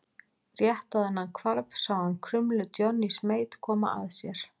Rétt áður en hann hvarf sá hann krumlu Johnnys Mate koma að sér.